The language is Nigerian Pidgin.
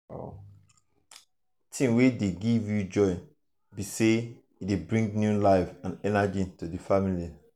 thing wey dey give joy pass be say e dey bring new life and energy to di family.